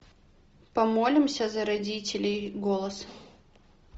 помолимся за родителей голос